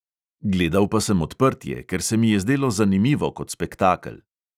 Gledal pa sem odprtje, ker se mi je zdelo zanimivo kot spektakel.